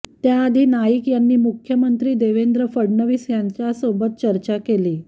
त्याआधी नाईक यांनी मुख्यमंत्री देवेंद्र फडणवीस यांच्यासोबत चर्चा केली